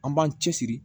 An b'an cɛsiri